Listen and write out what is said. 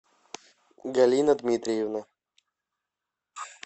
галина дмитриевна